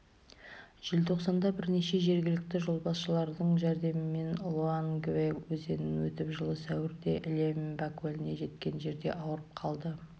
желтоқсанда бірнеше жергілікті жолбасшыларының жәрдемімен лоангвэ өзенінен өтіп жылы сәуірде льеммба көліне жеткен жерде ауырып қалды